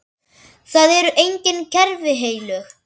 Það eru engin kerfi heilög.